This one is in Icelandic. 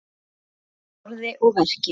Traust í orði og verki.